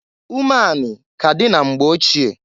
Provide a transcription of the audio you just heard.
Umeanị ka dị na mgbe ochie.